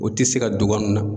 O tɛ se ka dogo an nuna.